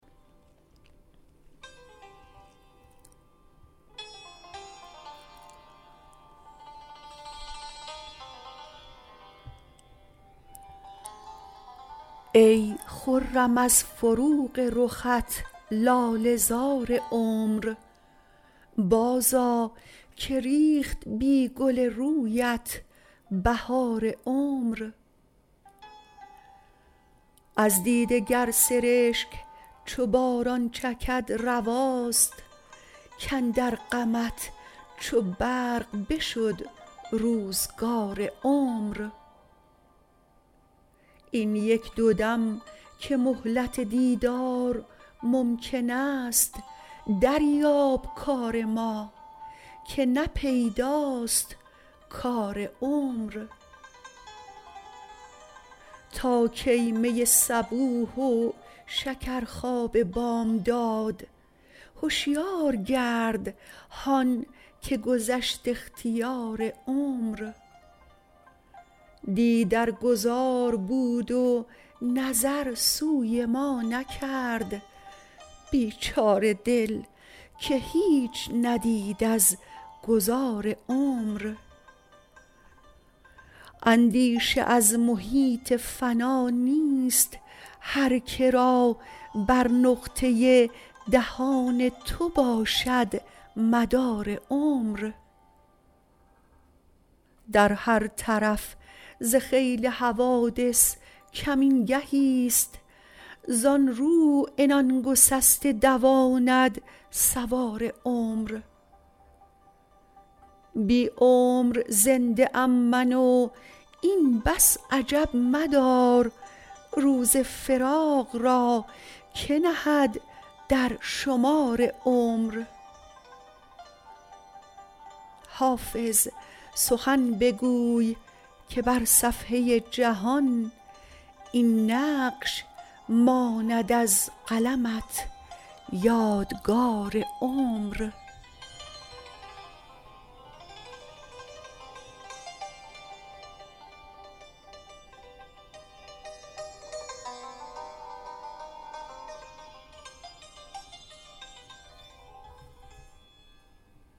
ای خرم از فروغ رخت لاله زار عمر بازآ که ریخت بی گل رویت بهار عمر از دیده گر سرشک چو باران چکد رواست کاندر غمت چو برق بشد روزگار عمر این یک دو دم که مهلت دیدار ممکن است دریاب کار ما که نه پیداست کار عمر تا کی می صبوح و شکرخواب بامداد هشیار گرد هان که گذشت اختیار عمر دی در گذار بود و نظر سوی ما نکرد بیچاره دل که هیچ ندید از گذار عمر اندیشه از محیط فنا نیست هر که را بر نقطه دهان تو باشد مدار عمر در هر طرف ز خیل حوادث کمین گهیست زان رو عنان گسسته دواند سوار عمر بی عمر زنده ام من و این بس عجب مدار روز فراق را که نهد در شمار عمر حافظ سخن بگوی که بر صفحه جهان این نقش ماند از قلمت یادگار عمر